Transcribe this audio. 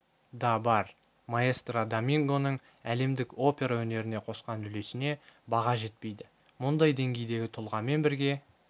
да бар маэстро домингоның әлемдік опера өнеріне қосқан үлесіне баға жетпейді мұндай деңгейдегі тұлғамен бірге